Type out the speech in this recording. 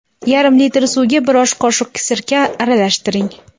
Yarim litr suvga bir osh qoshiq sirka aralashtiring.